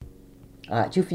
Radio 4